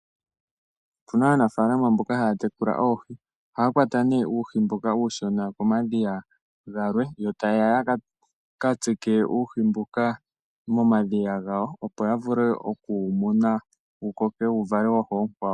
Opuna aanafalama mboka haa tekula oohi ohaa kwata nee uuhi mboka uushona komadhiya galwe yo tayeya ya ka tsike uuhi mbuka momadhiya gawo opo ya vule okuwu muna wu koke wo wu vale wafa uukwawo.